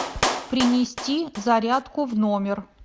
принести зарядку в номер